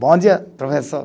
Bom dia, professor.